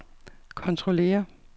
kontrollere